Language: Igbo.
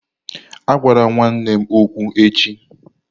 Agwala nwanne m okwu echi!